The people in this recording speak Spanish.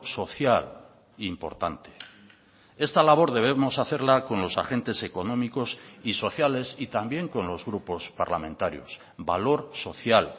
social importante esta labor debemos hacerla con los agentes económicos y sociales y también con los grupos parlamentarios valor social